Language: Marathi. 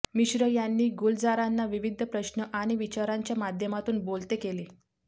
मिश्र यांनी गुलजारांना विविध प्रश्न आणि विचारांच्या माध्यमातून बोलते केले